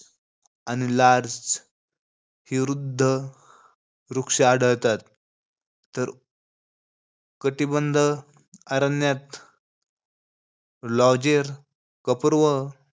आणि लार्ज ही रुद्ध वृक्ष आढळतात. तर कटिबंध अरण्यात लॉजेर, कपूर्व,